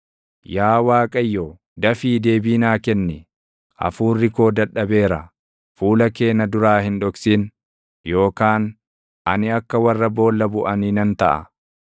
Yaa Waaqayyo, dafii deebii naa kenni; hafuurri koo dadhabeera. Fuula kee na duraa hin dhoksin yookaan ani akka warra boolla buʼanii nan taʼa.